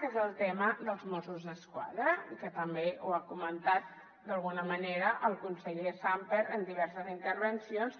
que és el tema dels mossos d’esquadra i que també ho ha comentat d’alguna manera el conseller sàmper en diverses intervencions